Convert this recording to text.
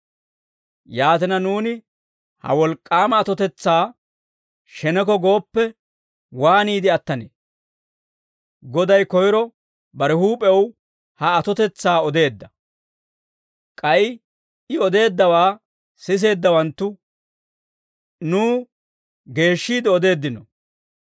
Yaatina, nuuni ha wolk'k'aama atotetsaa sheneko gooppe, waaniide attanee? Goday koyro bare huup'ew ha atotetsaa odeedda; k'ay I odeeddawaa siseeddawanttu nuw geeshshiide odeeddino.